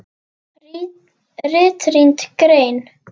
RITRÝND GREIN